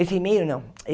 Esse e-mail, não.